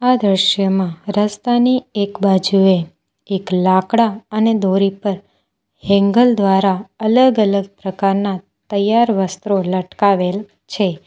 આ દ્રશ્યમાં રસ્તાની એક બાજુએ એક લાકડા અને દોરી પર હેંગલ દ્વારા અલગ અલગ પ્રકારના તૈયાર વસ્ત્રો લટકાવેલ છે.